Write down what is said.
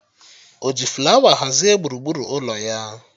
O ji flawa hazie gburugburu ụlọ ya?